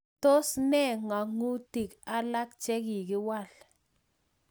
Tos ne ngatutik alak chekikiwal